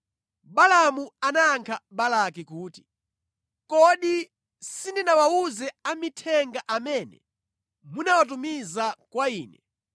Balaamu anayankha Balaki kuti, “Kodi sindinawawuze amithenga amene munawatumiza kwa ine,